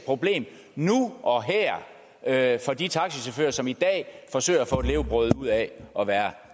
problem nu og her for de taxachauffører som i dag forsøger at få et levebrød ud af at være